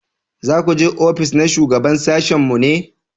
za ku je ofis na shugaban sashin mu ne?